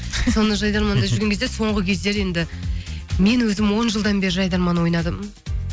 соны жайдарманда жүрген кезде соңғы кездері енді мен өзім он жылдан бері жайдарман ойнадым